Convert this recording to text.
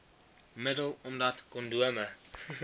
middel omdat kondome